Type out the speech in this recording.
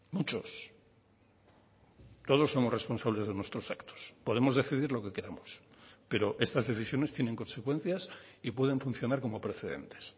muchos todos somos responsables de nuestros actos podemos decidir lo que queramos pero estas decisiones tienen consecuencias y pueden funcionar como precedentes